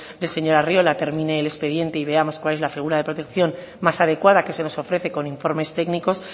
del señor arriola termine el expediente y veamos cuál es la figura de protección más adecuada que se nos ofrece con informes técnicos